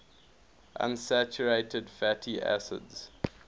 unsaturated fatty acids